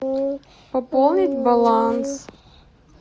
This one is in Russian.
пополнить баланс